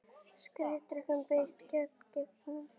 Skriðdrekum beitt gegn gengjum